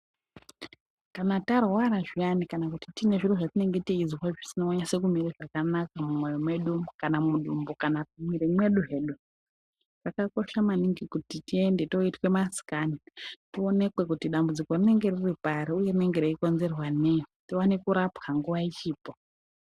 Kana tarwara zviyani, kana kuti tine zviro zvatinenge teizwa, zvisina kunase kumira zvakanaka mumoyo medu, kana mudumbu kana mumwiri mwedu zvedu , zvakakosha maningi kuti tiende toitwe maScan tionekwe kuti dambudziko rinenge riripari , uye rinenge richikonzerwa neyi, tioneke kurapwa nguwa ichipo.